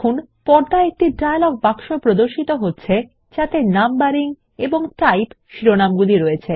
পর্দায় একটি ডায়লগ বাক্স প্রদর্শিত হচ্ছে যাতে নাম্বারিং এবং টাইপ শিরোনামগুলি রয়েছে